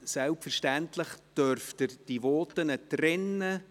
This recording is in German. Selbstverständlich dürfen Sie die Voten trennen.